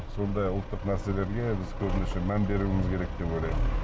сондай ұлттық нәрселерге біз көбінесе мән беруіміз керек деп ойлаймын